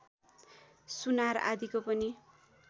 सुनार आदिको पनि